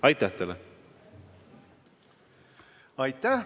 Aitäh!